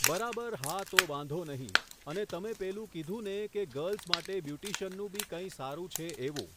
બરાબર હા તો વાંધો નહીં અને તમે પેલું કીધું ને કે ગર્લ્સ માટે બ્યુટિશયનનું બી કંઈ સારું છે એવું